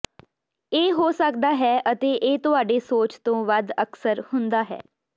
ਇਹ ਹੋ ਸਕਦਾ ਹੈ ਅਤੇ ਇਹ ਤੁਹਾਡੇ ਸੋਚ ਤੋਂ ਵੱਧ ਅਕਸਰ ਹੁੰਦਾ ਹੈ